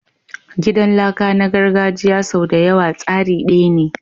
Gidan laka na gargajiya sau da yawa tsari daya ne.